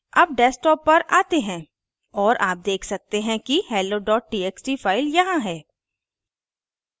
अब desktop पर आते हैं और आप देख सकते हैं कि hello txt file यहाँ है